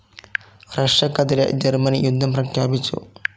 റഷ്യക്കെതിരെ Germany യുദ്ധം പ്രഖ്യാപിച്ചു.